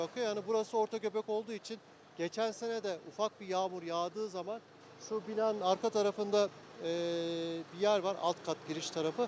Yəni burası orta göbək olduğu üçün, keçən sənə də ufak bir yağmur yağdığı zaman şu binanın arka tarafında bir yer var, alt kat giriş tarafı.